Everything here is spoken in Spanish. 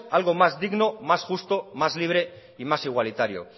algo más digno más justo más libre y más igualitario